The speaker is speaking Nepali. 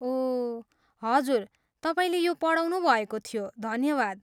ओह, हजुर, तपाईँले यो पढाउनुभएको थियो, धन्यवाद।